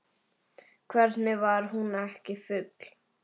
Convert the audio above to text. Hvernig var hún ekki full?